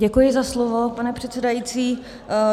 Děkuji za slovo, pane předsedající.